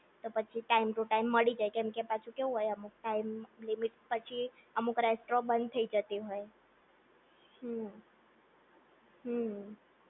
તો પછી time to time મળી જાય કેમ કે પાછું કેવું હોય અમુક ટાઈમ લિમિટ પછી અમુક રેસ્ટરો બંધ થઈ જતી હોય હમ્મ હમ્મ